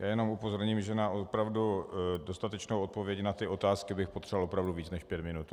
Já jenom upozorním, že na opravdu dostatečnou odpověď na ty otázky bych potřeboval opravdu víc než pět minut.